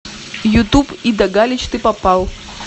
ютуб ида галич ты попал